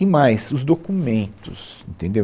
E mais, os documentos, entendeu?